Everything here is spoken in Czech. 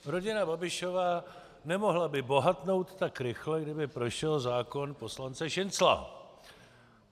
Rodina Babišova nemohla by bohatnout tak rychle, kdyby prošel zákon poslance Šincla.